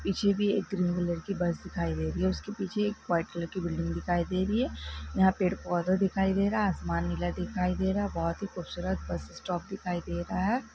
पीछे भी एक ग्रीन कलर की बस दिखाई दे रही है उसके पीछे एक व्हाइट कलर की बिल्डिंग दिखाई दे रही है यहां पेड़-पौधा दिखाई दे रहा है आसमान नीला दिखाई दे रहा है बहुत ही खूबसूरत बस स्टॉप दिखाई दे रहा है।